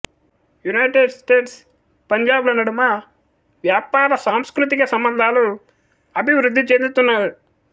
United States Punjab ల నడుమ వ్యాపార సాంస్కృతిక సంబంధాలు అభివృద్ధి చెందుతున్నాయి